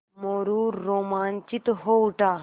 मोरू रोमांचित हो उठा